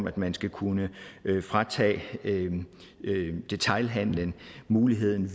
at man skal kunne fratage detailhandlen muligheden